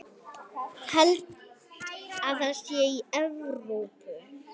Held það sé í Evrópu.